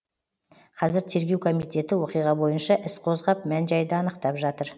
қазір тергеу комитеті оқиға бойынша іс қозғап мән жайды анықтап жатыр